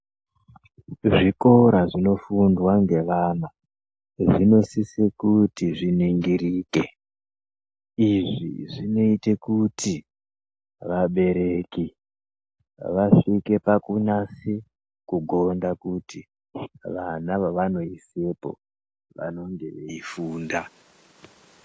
Zvikora zvinofundwe ngevana zvinosise kuti zviningirike. Izvi zvinoite kuti vabereki vasvike pakunase kugonda kuti vana vevanoisepo vanenge veifunda.